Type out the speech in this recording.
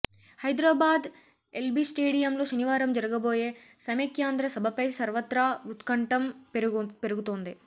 హైదరాబాద్ ఎల్బీస్టేడియంలో శనివారం జరగబోయే సమైక్యాంద్ర సభపై సర్వత్రా ఉత్కంటం పెరుగుతోంది